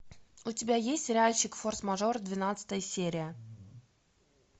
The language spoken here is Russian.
у тебя есть сериальчик форс мажор двенадцатая серия